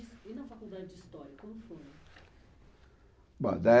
E na faculdade de História, como foi?